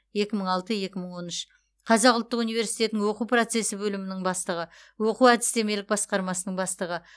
екі мың алты екі мың он үш қазақ ұлттық университетінің оқу процесі бөлімінің бастығы оқу әдістемелік басқармасының бастығы